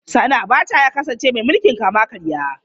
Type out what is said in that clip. Sani Abacha ya kasance mai mulkin kama karya.